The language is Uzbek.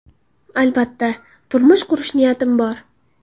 Albatta, turmush qurish niyatim bor.